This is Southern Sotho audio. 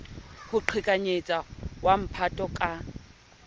ho qhekanyetsa wa mphato ka